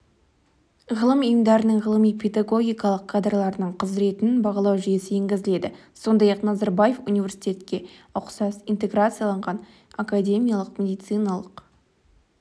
ғылым ұйымдарының ғылыми-педагогикалық кадрларының құзыретін бағалау жүйесі енгізіледі сондай-ақ назарбаев университетке ұқсас интеграциялаған академиялық медициналық